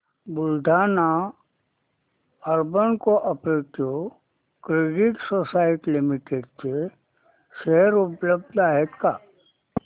Buldhana urban cooperative credit society limited चे share उपलब्ध आहेत का